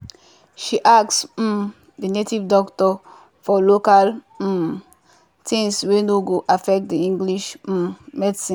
she ask um the native doctor for local um things wey no go affect the english um medicine.